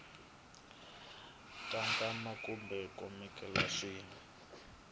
ta nkwama kumbe khonteyinara swi